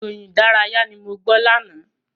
Ìròyìn ìdárayá ni mo gbọ́ lánàá.